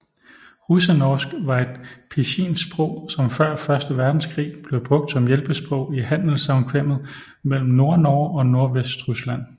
Russenorsk var et pidginsprog som før første verdenskrig blev brugt som hjælpesprog i handelssamkvemmet mellem Nordnorge og Nordvestrusland